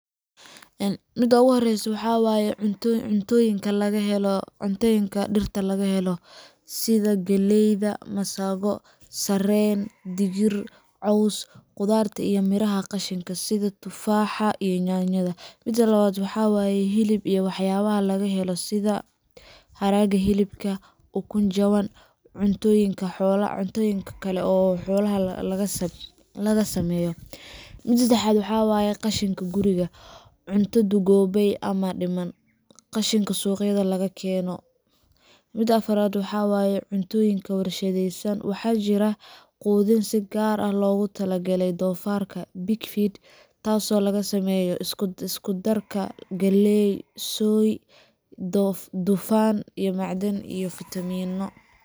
Mida ovu hore waxa waye Cuntooyinka dhirta laga helo, sida: Galleyda Sarreen Digir Caws ,Qudaarta iyo miraha qashinkooda sida tufaax, yaanyo, iwm.) Mida labad waxa waye. Hilib iyo waxyaabaha xoolaha laga helo, sida: Haraaga hilibka, Ukun jaban, Cuntooyin xoolo kale laga sameeyay Mida sefexad waxa waye, Qashinka guriga: Cunto duugoobay ama dhiman, Qashinka suuqyada laga keeno Mida afarad waxawaye, Cuntooyin warshadaysan: Waxaa jira quudin si gaar ah loogu talagalay doofaarka pig feed, taasoo laga sameeyo isku-darka galley, soy, dufan, macdan, iyo fitamiinno.